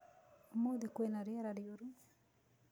Ũmũthĩ kwĩ na rĩera rĩũru